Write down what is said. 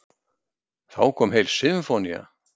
Þá kom heil sinfónía.